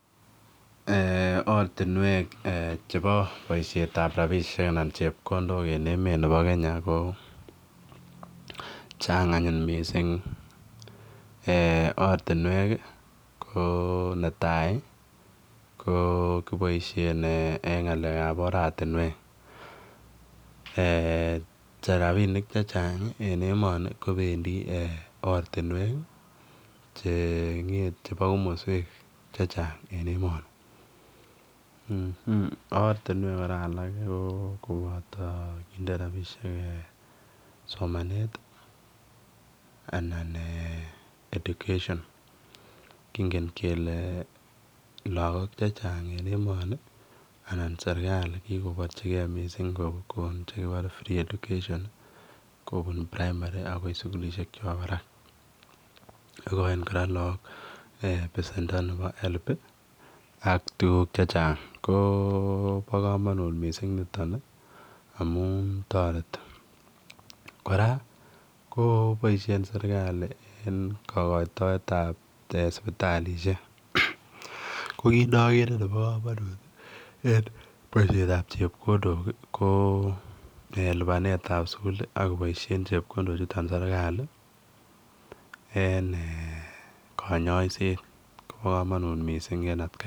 Ortinwek chebo chepkondok anan bosiietab rabinik en emet nebo Kenya ko chang anyun mising. Ortinwek ko netai ko kiboisien eng ngalek ab ortinwek, rabinik che chang en emonikobendi ortinwek chebo komoswek che chang en emoni. Ortinwek alak ko koboto somanet anan education kingen kele lagok che chang en emoniko kigoporchige kogon free education kobun primary agoi sugulishek chebo barak. Igochin kora lagokbesendo nebo HELB ak tuguk chechang ko bo komonut mising niton amun toreti. Kora ko boisien serkalit en kogoitoet ab sipitalisiek ko kit nogere nebo komonut en ngalek ab chepkondok ko en lipanet ab sugul, koboisien chepkondok chuton serkalit en konyoisiet kobo komonut mising en atkai tugul.